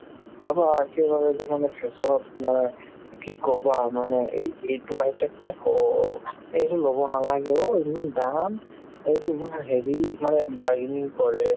চাবা একেবাৰে to মানে fashion ত মানে কি ক'বা মানে এই~ এইটো এই এইজোৰ ল'ব নালাগে অ' ইমান দাম সেইটো ইমান হেৰি মানে bargaining কৰে